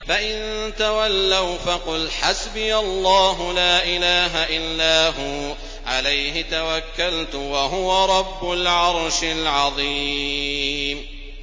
فَإِن تَوَلَّوْا فَقُلْ حَسْبِيَ اللَّهُ لَا إِلَٰهَ إِلَّا هُوَ ۖ عَلَيْهِ تَوَكَّلْتُ ۖ وَهُوَ رَبُّ الْعَرْشِ الْعَظِيمِ